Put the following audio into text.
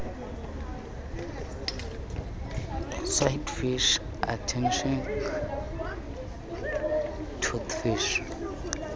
swordfish antarctic toothfish